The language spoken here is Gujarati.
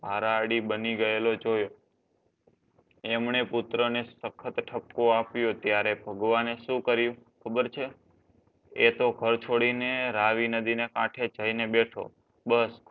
આરઆર્ડી બની ગયેલો જોયો. એમણે પુત્રને સખત ઠપકો આપ્યો ત્યારે ભગવાને શું કર્યું ખબર છે એતો ઘર છોડીને રાવીનદી ના કાંઠે જઈને બેઠો બસ